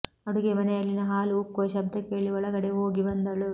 ಅಡುಗೆ ಮನೆಯಲ್ಲಿನ ಹಾಲು ಉಕ್ಕುವ ಶಬ್ದ ಕೇಳಿ ಒಳಗಡೆ ಹೋಗಿ ಬಂದಳು